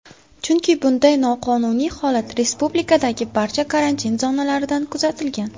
Chunki bunday noqonuniy holat respublikadagi barcha karantin zonalarida kuzatilgan.